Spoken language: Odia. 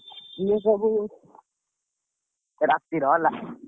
ସେଇ ସବୁ ରାତିରେ ହେଲା।